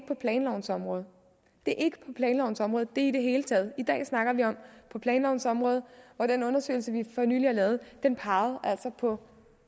på planlovens område det er ikke på planlovens område det er i det hele taget i dag snakker vi om planlovens område og den undersøgelse vi fornylig har lavet peger altså på